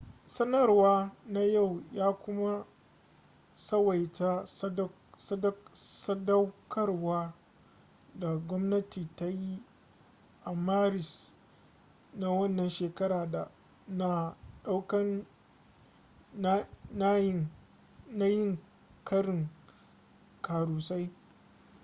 sanarwa na yau ya kuma tsawaita sadaukarwa da gwamnati ta yi a maris na wannan shekara na daukan nayin karin karusai